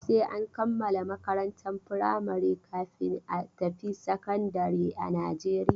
Sai an kammala makarantar firamari kafin a tafi sakandare a Najeriya.